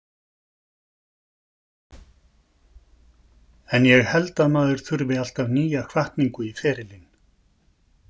En ég held að maður þurfi alltaf nýja hvatningu í ferilinn.